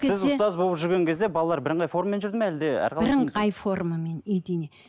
ұстаз болып жүрген кезде балалар бірыңғай формамен жүрді ме әлде бірыңғай формамен единный